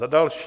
Za další.